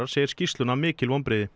segir skýrsluna mikil vonbrigði